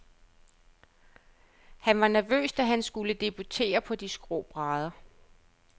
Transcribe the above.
Han var nervøs, da han skulle debutere på de skrå brædder.